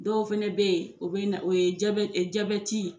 Dɔw fana bɛ yen o bɛ na o ye